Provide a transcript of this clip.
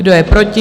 Kdo je proti?